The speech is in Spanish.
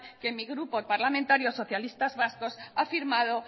que mi grupo parlamentario socialistas vascos ha firmado